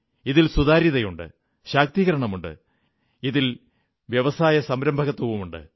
ഇതിൽ സുതാര്യതയുണ്ട് ശാക്തീകരണമുണ്ട് ഇതിൽ വ്യവസായസംരംഭകത്വമുണ്ട്